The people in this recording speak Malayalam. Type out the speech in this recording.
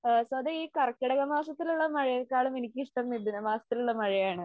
സ്വതെവേ ഈ കർക്കിടക മാസത്തിലെ മഴയെക്കാളും എനിക്ക് ഇഷ്ടം മിഥുന മാസത്തിലെ മഴയാണ്.